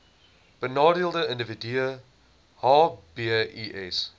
benadeelde individue hbis